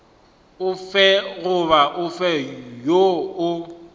ofe goba ofe woo o